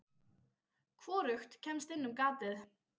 Hvorugt kemst inn um gatið.